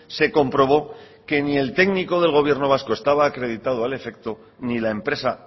se comprobó que ni el técnico del gobierno vasco estaba acreditado al afecto ni la empresa